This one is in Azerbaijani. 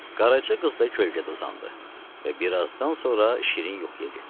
Qaraca qız da kölgədə uzandı və bir azdan sonra şirin yuxuya getdi.